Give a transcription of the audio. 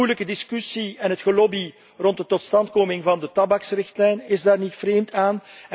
De moeilijke discussie en het gelobby rond de totstandkoming van de tabaksrichtlijn is daar niet vreemd aan.